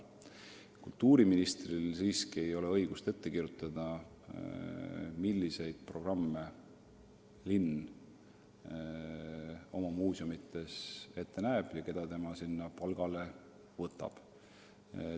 Kultuuriministril siiski ei ole õigust ette kirjutada, milliseid programme linn oma muuseumides ette näeb ja keda sinna palgale võtab.